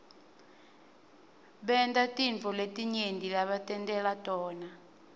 bantatintfo letinyenti lebatentela tona